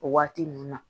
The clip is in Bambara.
O waati ninnu na